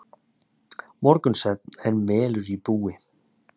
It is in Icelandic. Morgunsvefn er melur í búi.